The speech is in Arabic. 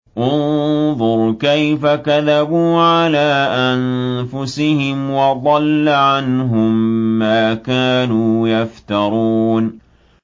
انظُرْ كَيْفَ كَذَبُوا عَلَىٰ أَنفُسِهِمْ ۚ وَضَلَّ عَنْهُم مَّا كَانُوا يَفْتَرُونَ